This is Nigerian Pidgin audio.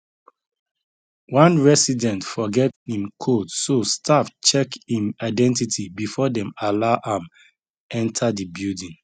one resident forget im code so staff check im identity before dem allow am enter the building